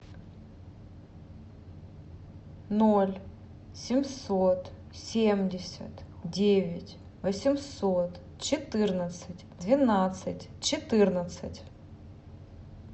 ноль семьсот семьдесят девять восемьсот четырнадцать двенадцать четырнадцать